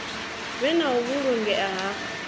vhe na u vhulungea ha